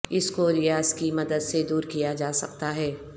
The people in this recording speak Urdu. اس کو ریاض کی مدد سے دور کیا جا سکتا ہے